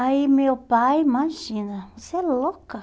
Aí meu pai, imagina, você é louca?